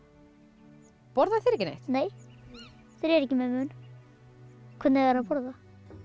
borða þeir ekki neitt nei þeir eru ekki með munn hvernig eiga þeir að borða